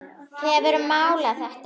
Hefurðu málað þetta?